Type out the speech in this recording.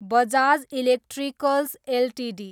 Bajaj Electricals Ltd